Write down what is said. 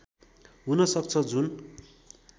हुन सक्छ जुन